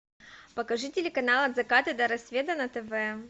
покажи телеканал от заката до рассвета на тв